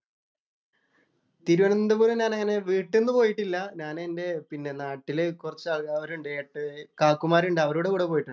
തിരുവനന്തപുരം ഞാൻ അങ്ങനെ വീട്ടിന്ന് പോയിട്ടില്ല. ഞാനെന്‍റെ പിന്നെ നാട്ടിലെ കുറച്ച് ആള്‍ക്കാരുണ്ട്. കാക്കുമാരൊണ്ട്. അവരുടെ കൂടെ പോയിട്ടുണ്ട്.